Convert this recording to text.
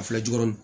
A filɛ jukɔrɔ